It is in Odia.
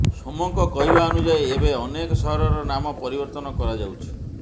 ସୋମଙ୍କ କହିବା ଅନୁଯାୟୀ ଏବେ ଅନେକ ସହରର ନାମ ପରିବର୍ତ୍ତନ କରାଯାଉଛି